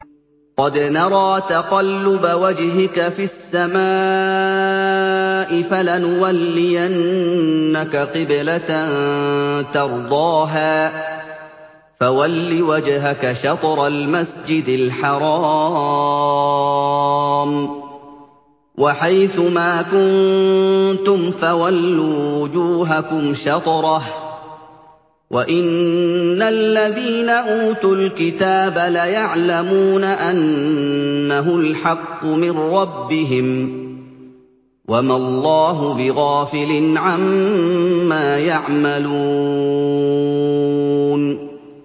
قَدْ نَرَىٰ تَقَلُّبَ وَجْهِكَ فِي السَّمَاءِ ۖ فَلَنُوَلِّيَنَّكَ قِبْلَةً تَرْضَاهَا ۚ فَوَلِّ وَجْهَكَ شَطْرَ الْمَسْجِدِ الْحَرَامِ ۚ وَحَيْثُ مَا كُنتُمْ فَوَلُّوا وُجُوهَكُمْ شَطْرَهُ ۗ وَإِنَّ الَّذِينَ أُوتُوا الْكِتَابَ لَيَعْلَمُونَ أَنَّهُ الْحَقُّ مِن رَّبِّهِمْ ۗ وَمَا اللَّهُ بِغَافِلٍ عَمَّا يَعْمَلُونَ